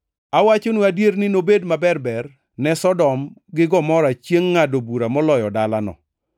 Awachonu adier ni nobed maberber ne Sodom gi Gomora chiengʼ ngʼado bura moloyo dalano.